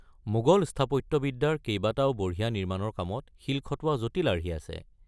মোগল স্থাপত্যবিদ্যাৰ কেইবাটাও বঢ়িয়া নিমাৰ্ণৰ কামত শিল খটোৱা জটিল আৰ্হি আছে।